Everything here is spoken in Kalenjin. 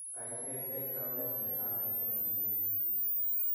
kany siketech taunet ne ang'er eng' tuyiet